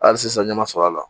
Hali sisan ɲɛ ma sɔr'a la